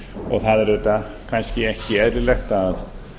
og það er auðvitað kannski ekki eðlilegt að